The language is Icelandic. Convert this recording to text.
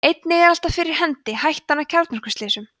einnig er alltaf fyrir hendi hættan á kjarnorkuslysum